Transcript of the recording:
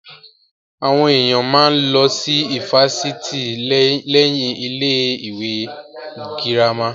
Àwọn èèyàn máa ń lọ sí ifásitì lẹ́yìn ilé ìwé girama